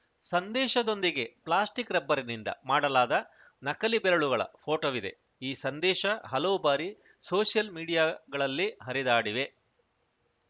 ಸಂದೇಶದೊಂದಿಗೆ plastic ರಬ್ಬರ್‌ನಿಂದ ಮಾಡಲಾದ ನಕಲಿ ಬೆರಳುಗಳ ಫೋಟೋವಿದೆ ಈ ಸಂದೇಶ ಹಲವು ಬಾರಿ ಸೋಷಿಯಲ್‌ ಮೀಡಿಯಾಗಳಲ್ಲಿ ಹರಿದಾಡಿವೆ